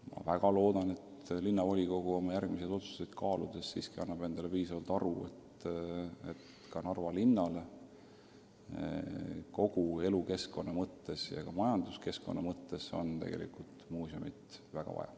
Ma väga loodan, et linnavolikogu annab endale oma järgmiseid otsuseid kaaludes aru, et Narva linnale on majanduskeskkonna ja kogu elukeskkonna mõttes tegelikult muuseumi väga vaja.